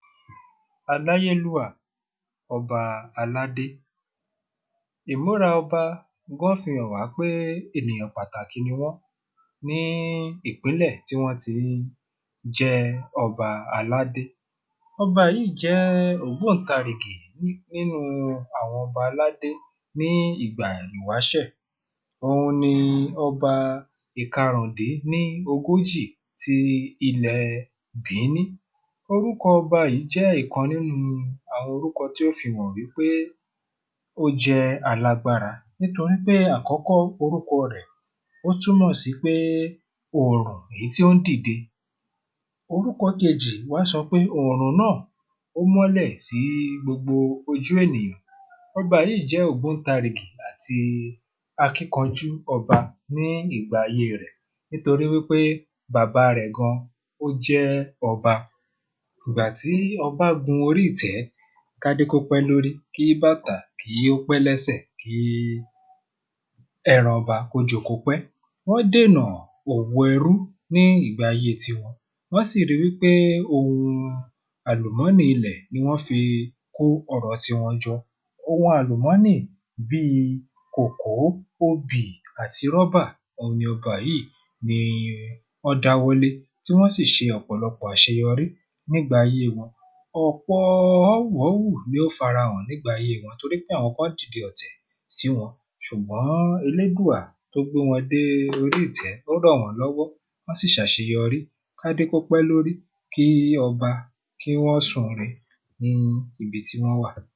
aláyélúwà ọba aládé ìmúra ọba gán fihàn wá pé ènìyàn pàtàkì ni wọ́n ní ìpínlẹ̀ tí wọ́n ti ń jẹ́ ọba aládé ọba yìí jẹ́ ògbóùntarìgì nínu àwọn ọba aládé ní ìgbà ìwáṣẹ̀ òun ni ọba ìkarùndín ní ogójì ti ilẹ̀ bìíní orúkọ ọba yìí jẹ́ ìkan nínú àwọn orúkọ tó fihàn wí pé ó jẹ́ alágbára nítorí pé àkọ́kọ́ orúkọ rẹ̀ ó túnmọ̀ sí pé òrùn èyí tí ó ń dìde. Orúkọ kejì wá sọ pé òrùn náà ó ń mọ́lè sí gbogbo ojú ènìyàn ọba yìí jẹ́ ògbóùntarìgì àti akínkanjú ọba ní ìgbà ayé e rẹ̀ nítorí wí pé bàbá rẹ̀ gan ó jẹ́ ọba ìgbà tí ọba gun orí ìtẹ́ kádé kó pẹ́ lórí kí bàtà kí ó pẹ́ lẹ́sẹ̀ kí ẹran ọba kó joko pẹ́ wọ́n dènà òwò ẹrú ní ìgbà ayé tiwọn wọ́n sì ri wí pé ohun àlùmọ́nì ilẹ̀ ni wọ́n fi kó ọrọ̀ tiwọn jọ ohun àlùmọ́nì bíi kòkó, obì àti rọ́bà, òhun ni ọba yìí ni wọ́n dáwọ́ lé, tí wọ́n sì ṣe ọ̀pọ̀lọpọ̀ àṣeyọrí nígbà ayé wọn ọ̀pọ ọ́wù ọ́wù ni ó fara hàn nígbà ayé wọn torí pé àwọn kan dìde ọ̀tẹ̀ sí wọn, ṣùgbọ́n elédùà tó gbé wọn dé orí ìtẹ́, ó ràn wọ́n lọ́wọ́ wọ́n sì ṣàṣeyọrí kádé kópẹ́ lórí kí ọba kí wọ́n sùn re ní ibi tí wọ́n wà.